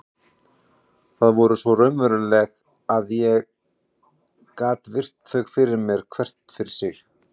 Þau voru svo raunveruleg að ég gat virt þau fyrir mér hvert fyrir sig.